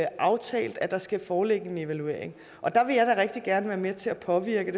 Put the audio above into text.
aftalt at der skal foreligge en evaluering der vil jeg da rigtig gerne være med til at påvirke